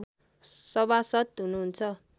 सभासद् हुनुहुन्छ